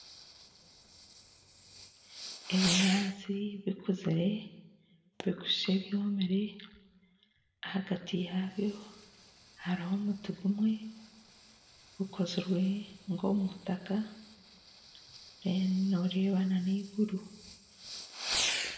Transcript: Ebinyatsi bikuzire bikushusha ebyomire ahagati yaabyo hariho omuti gumwe gukozirwe nkomumutaka deru noreeba nana eiguru